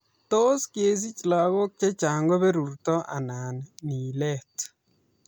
Tos kesiich lagook chechang' ko berurto anan nileet?